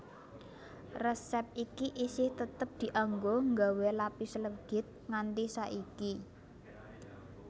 Resép iki isih tetep dianggo nggawé lapis legit nganti saiki